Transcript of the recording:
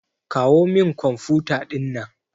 Kawo min kwamfuta ɗinnan.